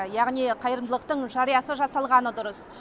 яғни қайырымдылықтың жариясыз жасалғаны дұрыс